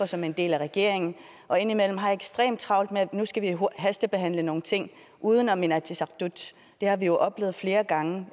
som en del af regeringen og indimellem har ekstremt travlt med at nu skal vi hastebehandle nogle ting uden om inatsisartut det har vi jo oplevet flere gange